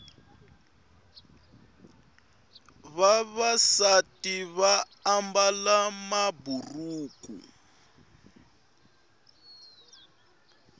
vavasati vaambala maburuku